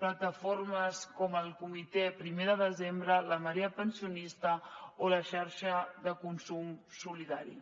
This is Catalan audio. plataformes com el comitè primer de desembre la marea pensionista o la xarxa de consum solidari